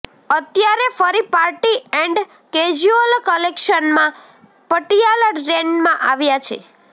અત્યારે ફરી party and casual કલેક્શનમાં પટિયાલા ટ્રેન્ડમાં આવ્યા છે